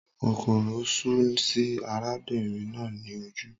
Kòkòrò sú sí arábìnrin náà ní ojú